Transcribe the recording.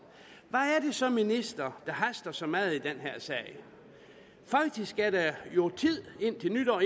altså ministeren der haster så meget i den her sag faktisk er der jo tid indtil nytår